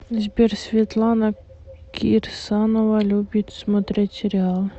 сбер светлана кирсанова любит смотреть сериалы